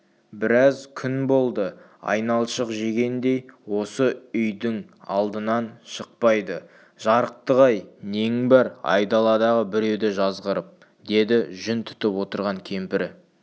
біраз күн болды айналшық жегендей осы үйдің алдынан шықпайды жарықтық-ай нең бар айдаладағы біреуді жазғырып деді жүн түтіп отырған кемпірі